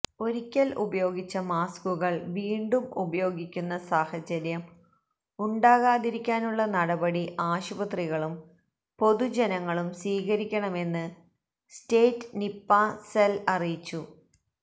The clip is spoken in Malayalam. ഒരിക്കല് ഉപയോഗിച്ച മാസ്കുകള് വീണ്ടും ഉപയോഗിക്കുന്ന സാഹചര്യം ഉണ്ടാകാതിരിക്കാനുള്ള നടപടി ആശുപത്രികളും പൊതുജനങ്ങളും സ്വീകരിക്കണമെന്ന് സ്റ്റേറ്റ് നിപ്പാ സെല് അറിയിച്ചു